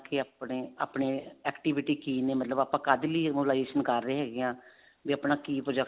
ਕੀ ਆਪਣੇ ਆਪਣੇ activity ਕੀ ਨੇ ਮਤਲਬ ਆਪਾਂ ਕਾਹਦੇ ਲਈ mobilization ਕਰ ਰਹੇ ਹੈਗੇ ਹਾਂ ਵੀ ਆਪਣਾ ਕੀ project